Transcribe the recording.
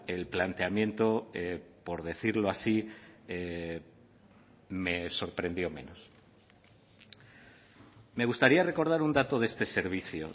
el planteamiento por decirlo así me sorprendió menos me gustaría recordar un dato de este servicio